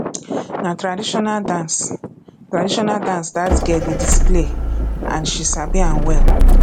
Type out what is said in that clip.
na traditional dance traditional dance dat girl dey display and she sabi am well